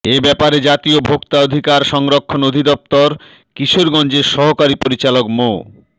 এ ব্যাপারে জাতীয় ভোক্তা অধিকার সংরক্ষণ অধিদপ্তর কিশোরগঞ্জের সহকারী পরিচালক মো